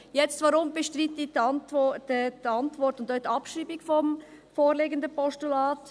Weshalb bestreite ich die Antwort und auch die Abschreibung des vorliegenden Postulats?